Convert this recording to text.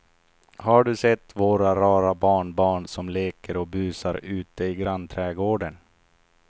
Har du sett våra rara barnbarn som leker och busar ute i grannträdgården!